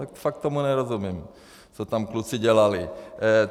Tak fakt tomu nerozumím, co tam kluci dělali.